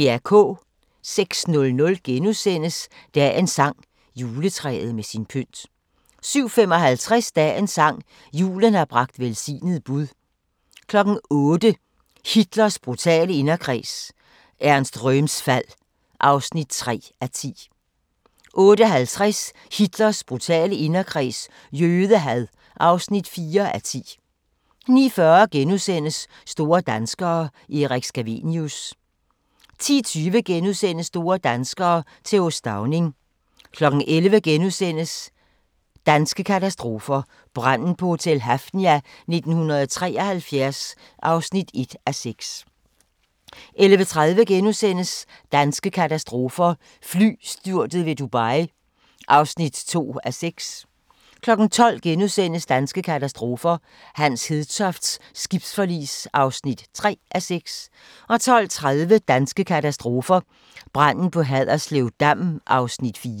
06:00: Dagens sang: Juletræet med sin pynt * 07:55: Dagens sang: Julen har bragt velsignet bud 08:00: Hitlers brutale inderkreds – Ernst Röhms fald (3:10) 08:50: Hitlers brutale inderkreds – jødehad (4:10) 09:40: Store danskere – Erik Scavenius * 10:20: Store danskere - Th. Stauning * 11:00: Danske katastrofer – Branden på Hotel Hafnia 1973 (1:6)* 11:30: Danske katastrofer – Flystyrtet ved Dubai (2:6)* 12:00: Danske katastrofer – Hans Hedtofts skibsforlis (3:6)* 12:30: Danske katastrofer – Branden på Haderslev Dam (4:6)*